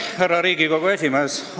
Härra Riigikogu esimees!